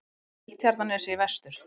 Seltjarnarnesi í vestur.